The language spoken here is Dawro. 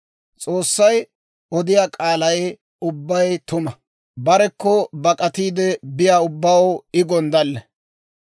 S'oossay odiyaa k'aalay ubbay tuma; barekko bak'atiide biyaa ubbaw I gonddalle.